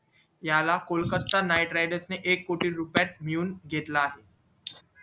याला Kolkata night riders ने एक कोटी रुपयेत घेऊन घेतला